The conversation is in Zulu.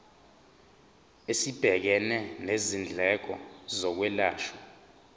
esibhekene nezindleko zokwelashwa